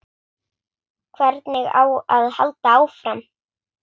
Hvernig á að halda áfram?